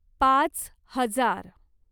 पाच हजार